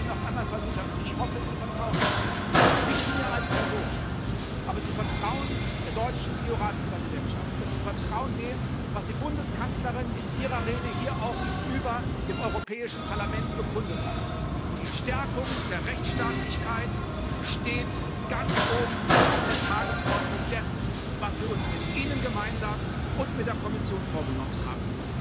Ich kann Ihnen noch einmal versichern, und ich hoffe Sie vertrauen mir, nicht mir als Person, aber Sie vertrauen der deutschen EU Ratspräsidentschaft und Sie vertrauen dem, was die Bundeskanzlerin in ihrer Rede hier auch gegenüber dem Europäischen Parlament bekundet hat Die Stärkung der Rechtsstaatlichkeit steht ganz oben auf der Tagesordnung dessen, was wir uns mit Ihnen gemeinsam und mit der Kommission vorgenommen haben.